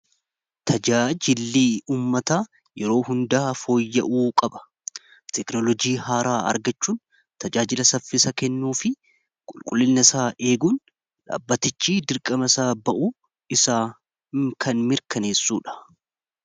tajaajillii ummata yeroo hundaaa fooyya'uu qaba teknolojii haaraa argachuun tajaajila saffisa kennuu fi qulqullilna isaa eeguun dhaabbatichi dirqama isaa ba'u isaa kan mirkaneessuudha